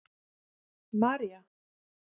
Marja